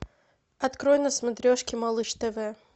открой на смотрешке малыш тв